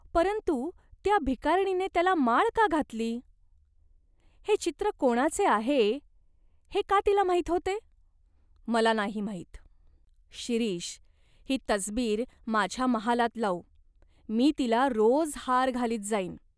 परंतु त्या भिकारणीने त्याला माळ का घातलीं ? हे चित्र कोणाचे आहे हे का तिला माहीत होते ?" "मला नाही माहीत " "शिरीष, ही तसबीर माझ्या महालात लावू, मी तिला रोज हार घालीत जाईन.